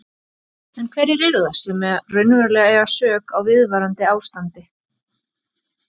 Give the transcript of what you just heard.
En hverjir eru það sem raunverulega eiga sök á viðvarandi ástandi?